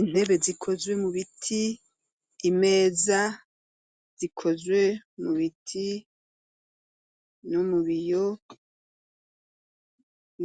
Intebe zikozwe mu biti, imeza zikozwe mu biti no mu biyo,